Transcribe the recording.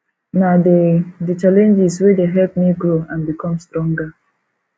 na di di challenges wey dey help me grow and become stronger